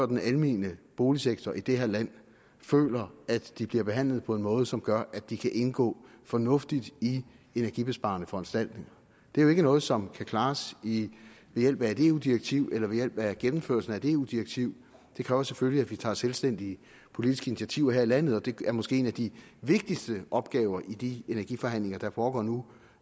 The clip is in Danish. den almene boligsektor i det her land føler at de bliver behandlet på en måde som gør at de kan indgå fornuftigt i energibesparende foranstaltninger det er jo ikke noget som kan klares ved hjælp af et eu direktiv eller ved hjælp af gennemførelsen af et eu direktiv det kræver selvfølgelig at vi tager selvstændige politiske initiativer her i landet og det er måske en af de vigtigste opgaver i de energiforhandlinger der foregår nu